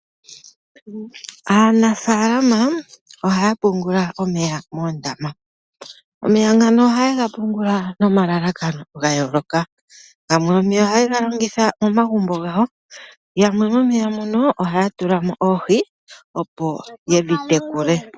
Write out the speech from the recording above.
Aanafalama ohaya pungula omeya moondama. Oha yega pungula nomalalakano ga yooloka gamwe ohaye ga longitha momagumbo gawo omanga yamwe ohaya tulamo oohi, opo yedhi tekule.